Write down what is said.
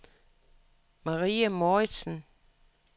Marie Mouritsen